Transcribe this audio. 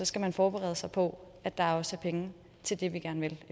skal forberede sig på at der også er penge til det vi gerne vil